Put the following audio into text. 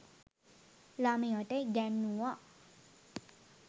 ළමයට ඉගැන්නුවා.